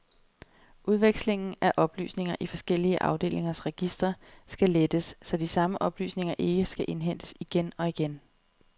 Udvekslingen af oplysninger i forskellige afdelingers registre skal lettes, så de samme oplysninger ikke skal indhentes igen og igen.